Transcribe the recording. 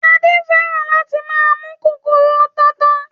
Adé fẹ́ràn láti máa mú kòkòrò tata